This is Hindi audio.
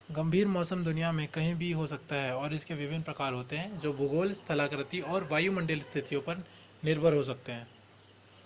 गंभीर मौसम दुनिया में कहीं भी हो सकता है और इसके विभिन्न प्रकार होते हैं जो भूगोल स्थलाकृति और वायुमंडलीय स्थितियों पर निर्भर हो सकते हैं